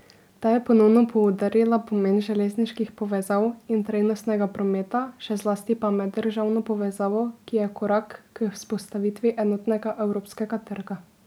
Ta je ponovno poudarila pomen železniških povezav in trajnostnega prometa, še zlasti pa meddržavno povezavo, ki je korak k vzpostavitvi enotnega evropskega trga.